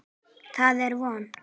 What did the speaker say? Það er von.